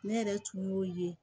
Ne yɛrɛ tun y'o ye